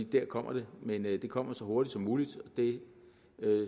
der kommer det men det kommer så hurtigt som muligt det